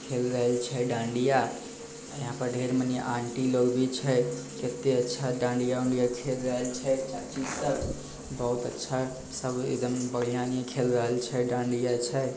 खेल रहें छे डाडिंया यहाँ पर डेर मनी ऑन्टी लोग भी छे केते अच्छा डाडिंया उनीदिया खेल रहल छे चाची सब बहुत अच्छा से खेल रहल छे डाडिंया छे|